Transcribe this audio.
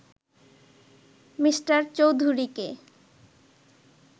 Me. চৌধুরীকে